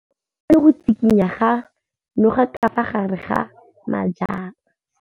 O bone go tshikinya ga noga ka fa gare ga majang.